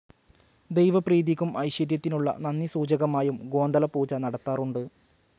ദൈവപ്രീതിക്കും ഐശ്വര്യത്തിനുള്ള നന്ദി സൂചകമായും ഗോന്തള പൂജ നടത്താറുണ്ട്.